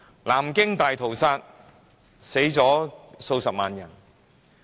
南京大屠殺，死了數十萬人。